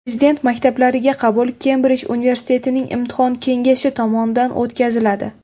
Prezident maktablariga qabul Kembrij universitetining Imtihon kengashi tomonidan o‘tkaziladi.